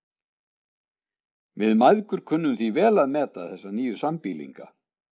Við mæðgur kunnum því vel að meta þessa nýju sambýlinga.